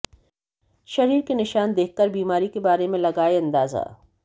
शरीर के निशान देखकर बीमारी के बारे में लगाए अंदाजा